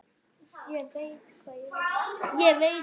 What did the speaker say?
Ég veit hvað ég vil!